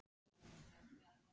Okkur var vel tekið á skrifstofu